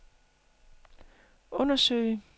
undersøge